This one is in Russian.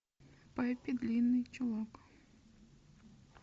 пеппи длинный чулок